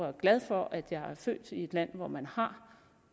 er glad for at jeg er født i et land hvor man har